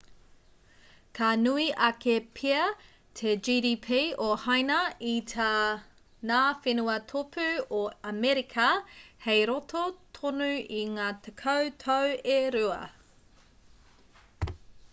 ka nui ake pea te gdp o haina i tā ngā whenua tōpū o amerika hei roto tonu i ngā tekau tau e rua